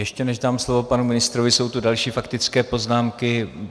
Ještě než dám slovo panu ministrovi, jsou tu další faktické poznámky.